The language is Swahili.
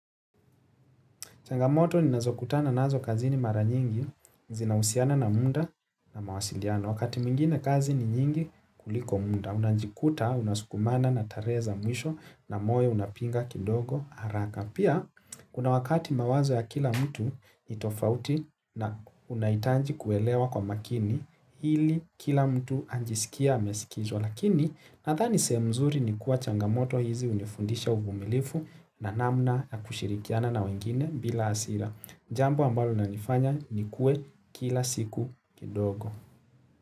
Changamoto ninazokutana nazo kazini mara nyingi, zinausiana na muda na mawasiliano. Wakati mwingine kazi ni nyingi kuliko munda, unajikuta, unasukumana, nataleza mwisho, na moyo unapinga kidogo, haraka. Pia, kuna wakati mawazo ya kila mtu itofauti na unaitanji kuelewa kwa makini, hili kila mtu anajisikia amesikizwa. Kisa lakini, nadhani sehemu mzuri ni kuwa changamoto hizi unifundisha uvumilifu na namna ya kushirikiana na wengine bila hasira. Jambi ambalo na nifanya nikue kila siku kidogo.